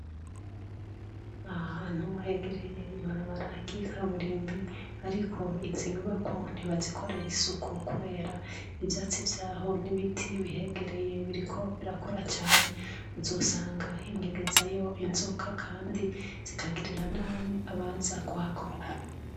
Aha hantu gereye ibarabara ry'ikaburimbo ariko izi nyubako ntibazikorera isuku kubera ivyatsi vyaho n'ibiti bihegereye, biriko birakura cane uzosanga hinyegezayo inzoka kandi zikagirira nabi abaza kuhakorera.